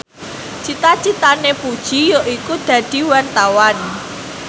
cita citane Puji yaiku dadi wartawan